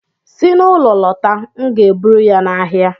Si n'ụlọ lọta, m ga-eburu ya n'ahịa